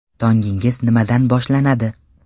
Tongingiz nimadan boshlanadi?